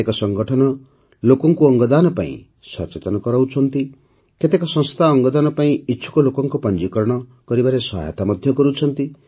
କେତେକ ସଂଗଠନ ଲୋକଙ୍କୁ ଅଙ୍ଗଦାନ ପାଇଁ ସଚେତନ କରାଉଛନ୍ତି କେତେକ ସଂସ୍ଥା ଅଙ୍ଗଦାନ ପାଇଁ ଇଚ୍ଛୁକ ଲୋକଙ୍କ ପଞ୍ଜୀକରଣ କରିବାରେ ସହାୟତା କରୁଛନ୍ତି